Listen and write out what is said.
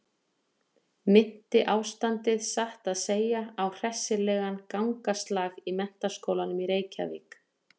Minnti ástandið satt að segja á hressilegan gangaslag í Menntaskólanum í Reykjavík.